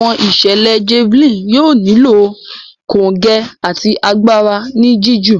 Àwọn ìṣẹlẹ Javelin yóò nilo kongẹ àti àgbàrá ní jiju.